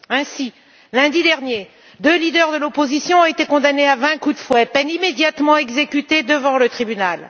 Ainsi, lundi dernier, deux dirigeants de l'opposition ont été condamnés à vingt coups de fouet, peine immédiatement exécutée devant le tribunal.